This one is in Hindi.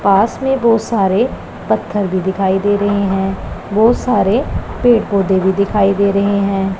पास में बहुत सारे पत्थर भी दिखाई दे रहे हैं बहुत सारे पेड़ पौधे भी दिखाई दे रहे हैं।